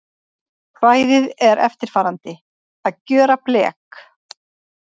Kvæðið er eftirfarandi: Að gjöra blek